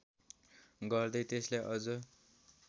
गर्दै त्यसलाई अझ